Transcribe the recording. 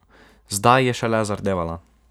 Zdaj je šele zardevala.